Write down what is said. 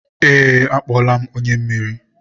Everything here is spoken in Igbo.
ee, akpọọla m onye mmiri.